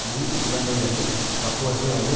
முன் நிபந்தனைகளின் பக்குவத்தைஅது